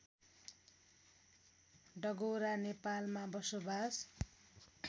डगौरा नेपालमा बसोबास